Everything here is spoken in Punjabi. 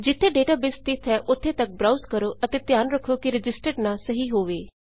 ਜਿੱਥੇ ਡੇਟਾਬੇਸ ਸਥਿਤ ਹੈ ਉੱਥੇ ਤੱਕ browseਬ੍ਰਾਉਜ਼ ਕਰੋ ਅਤੇ ਧਿਆਨ ਰੱਖੋ ਕਿ ਰਜਿਸਟਰਡ ਨਾਂ ਸਹੀ ਹੋਵੇ